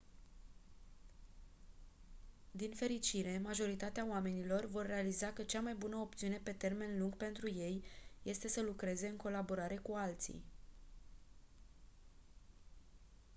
din fericire majoritatea oamenilor vor realiza că cea mai bună opțiune pe termen lung pentru ei este să lucreze în colaborare cu alții